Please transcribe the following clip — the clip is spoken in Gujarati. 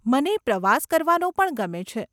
મને પ્રવાસ કરવાનો પણ ગમે છે.